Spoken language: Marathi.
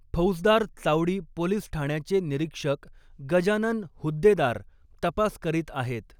फौजदार चावडी पोलिस ठाण्याचे निरीक्षक गजानन हुद्देदार तपास करीत आहेत.